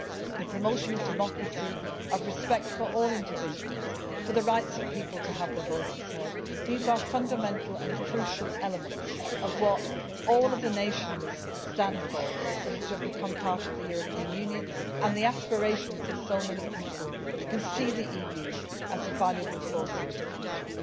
failed. The promotion of democracy, respect for all individuals and the right of people to have their voices heard is a fundamental and crucial element of what all the nations that have become part of the European Union stand for and of the aspirations of so many people who see the EU as a valuable force for the